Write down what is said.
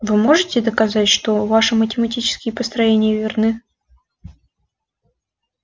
вы можете доказать что ваши математические построения верны